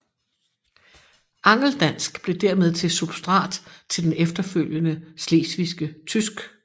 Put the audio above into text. Angeldansk blev dermed til substrat til det efterfølgende slesvigske tysk